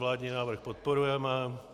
Vládní návrh podporujeme.